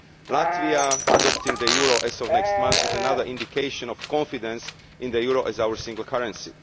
Latvia adopting the euro as of next month is another indication of confidence in the euro as our single currency.